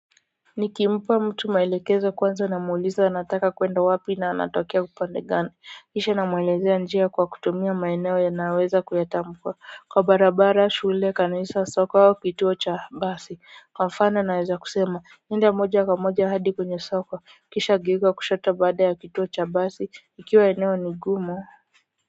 Nikimpa mtu maelekezo kwanza na muuliza anataka kwenda wapi na anatokea upande gani kisha na mwelezea njia kwa kutumia maeneo yanayoweza kuyatambua kwa barabara, shule, kanisa, soko au kituo cha basi kwa mfano naweza kusema nenda moja kwa moja hadi kwenye soko kisha geuka kushota baada ya kituo cha basi ikiwa eneo ni gumu.